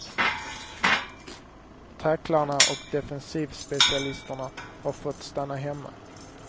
Tacklarna och defensivspecialisterna har fått stanna hemma.